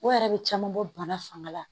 O yɛrɛ bɛ caman bɔ bana fanga la